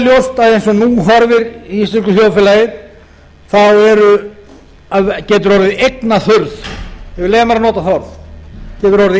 ljóst að eins og nú horfir í íslensku þjóðfélagi getur orðið eignaþurrð ég vil leyfa mér að nota það orð hefur orðið